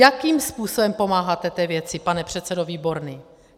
Jakým způsobem pomáháte té věci, pane předsedo Výborný?